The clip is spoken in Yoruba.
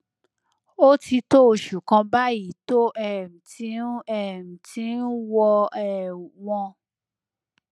ó ti tó oṣù kan báyìí tó um ti ń um ti ń wọ um wọn